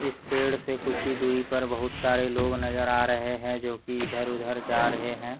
इस पेड़ से कुछ ही दूरी पर बहुत सारे लोग नजर आ रहे हैं जो कि इधर-उधर जा रहे हैं।